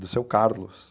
Do seu Carlos.